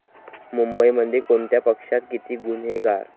मुंबईमध्ये कोणत्या पक्षात किती गुन्हेगार?